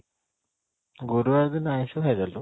ଗୁରୁବାର ଦିନ ଆଇଁଷ ଖାଇଦେଲୁ?